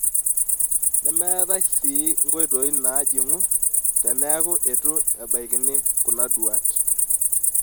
Nemetae si nkoitoi naajing'u teneaku eitu ebaikini kuna duaat.